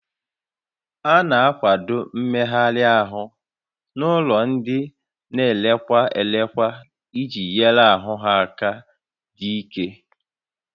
A na-akwado mmegharị ahụ n'ụlọ ndị a na elekwa elekwa iji nyere ahụ ha aka ịdị ike